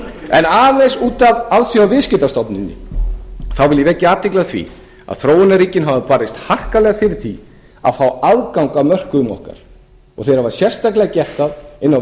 en aðeins út af alþjóðaviðskiptastofnuninni þá vil ég vekja athygli á því að þróunarríkin hafa barist harkalega fyrir því að fá aðgang að mörkuðum okkar og þeir hafa sérstaklega gert það inn á